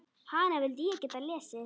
Hana vildi ég geta lesið.